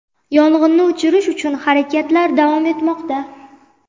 Yong‘inni o‘chirish uchun harakatlar davom etmoqda.